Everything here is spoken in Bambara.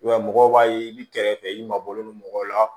I b'a ye mɔgɔw b'a ye i bi kɛrɛfɛ i mabɔlen don mɔgɔw la